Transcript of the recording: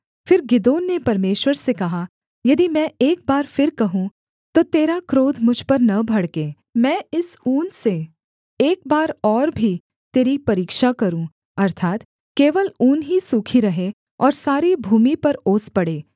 फिर गिदोन ने परमेश्वर से कहा यदि मैं एक बार फिर कहूँ तो तेरा क्रोध मुझ पर न भड़के मैं इस ऊन से एक बार और भी तेरी परीक्षा करूँ अर्थात् केवल ऊन ही सूखी रहे और सारी भूमि पर ओस पड़े